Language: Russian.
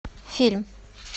фильм